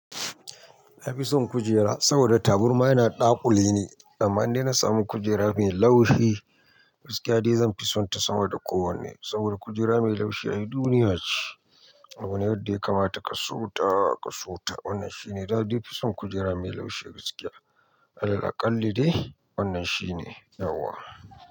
Na fi son kujera saboda taburma yana da ɗakule ne, amma dai na samu kujera mai laushi gaskiya dai zanfi sonta sama da kowane saboda kujera mai laushi ai duniya ce. Abu ne wadda ya kamata ka so ta ka so ta wannan shine. Na dai fisun kujera mai laushi gaskiya, Allah aƙalli dai wannan shine nauwa.